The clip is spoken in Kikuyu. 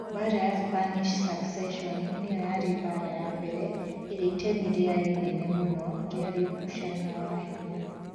Mbaara ya Spanish Succession nĩyo yarĩ mbaara ya mbere ĩrĩa itemi rĩayo inene mũno riarĩ ũgucania wa hinya.